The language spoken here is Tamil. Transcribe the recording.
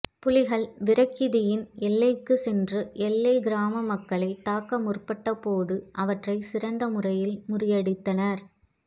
புலிகள் விரக்கிதியின் எல்லைக்குச் சென்று எல்லைக் கிராம மக்களை தாக்க முற்பட்ட போது அவற்றை சிறந்த முறையில் முறியடித்தனர்